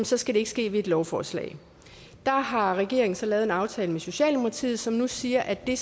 så skal det ske ved et lovforslag der har regeringen så lavet en aftale med socialdemokratiet som nu siger at det